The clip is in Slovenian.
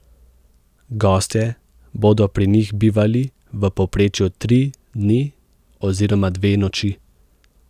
Gostje bodo pri njih bivali v povprečju tri dni oziroma dve noči.